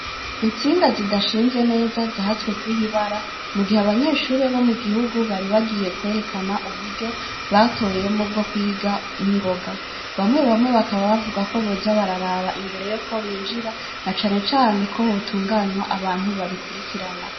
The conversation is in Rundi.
Intsinga zidashinze neza zahatswe kwiha ibara, mu gihe abanyeshure bo mu gihugu bari bagiye kwerekana uburyo batoyemwo bwo kwiga n'ingoga. Bamwe bamwe bakaba bavuga ko boza bararaba imbere y'uko binjira, na cane cane ko hotunganywa abantu babikurikirana.